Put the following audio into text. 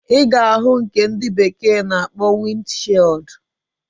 Iga ahu nke ndi bekee na akpo wind shield.